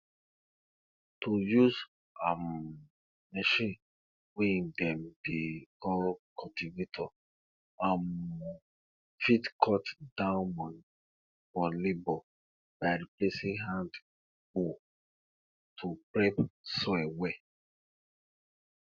to use um machine wey dem dey call cultivator um fit cut down money for labour by replacing hand hoe to prep soil well